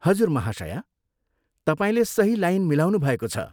हजुर, महाशया! तपाईँले सही लाइन मिलाउनुभएको छ।